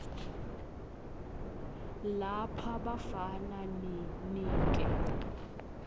lapha bafana ninike